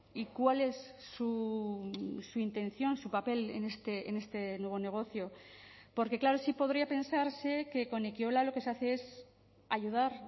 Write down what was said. y cuál es su intención su papel en este nuevo negocio porque claro sí podría pensarse que con ekiola lo que se hace es ayudar